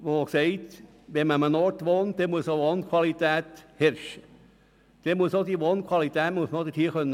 Ich gehöre zu jenen, die sagen, dass es an Orten, an denen man wohnt, eine hohe Wohnqualität braucht.